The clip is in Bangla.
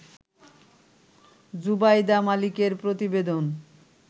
জুবাইদা মালিকের প্রতিবেদন